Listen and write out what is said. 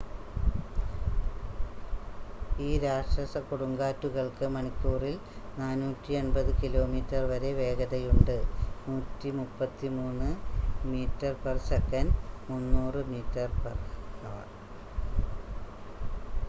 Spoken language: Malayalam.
ഈ രാക്ഷസ കൊടുങ്കാറ്റുകൾക്ക് മണിക്കൂറിൽ 480 കിലോമീറ്റർ വരെ വേഗതയുണ്ട് 133 m/s; 300 mph